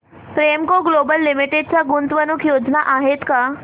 Premco global limited च्या गुंतवणूक योजना आहेत का